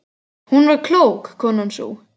Hún var klók, konan sú.